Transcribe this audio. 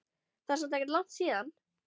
Það er samt ekkert langt síðan.